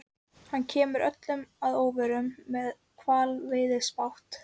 Hann kemur öllum að óvörum- með hvalveiðibát!